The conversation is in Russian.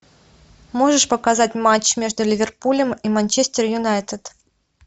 можешь показать матч между ливерпулем и манчестер юнайтед